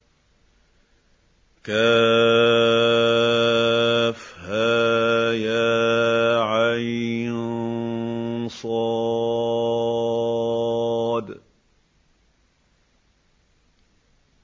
كهيعص